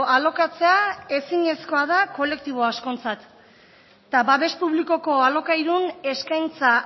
alokatzea ezinezkoa da kolektibo askontzat eta babes publikoko alokairun eskaintza